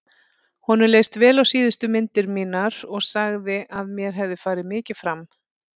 Honum leist vel á síðustu myndir mínar og sagði að mér hefði farið mikið fram.